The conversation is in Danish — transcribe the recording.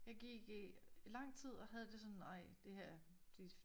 Jeg gik i lang tid og havde sådan ej det her det